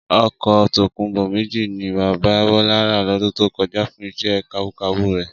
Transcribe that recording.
Ọkọ̀ tòkunbọ̀ méjì ni bàbá Bọlá rà lọdún tó kọjá fún iṣẹ́ kabúkabú rẹ̀